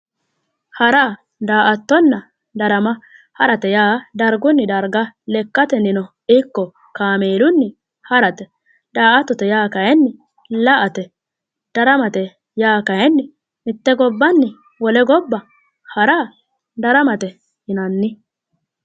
Hara, daa'attonna darama ,harate yaa darguni darga lekkateninno ikko kaamelunni ha'rate, daa'attote yaa kayinni la"ate, daramate yaa kayinni mite gobbani wole gobba hara daramate yinnanni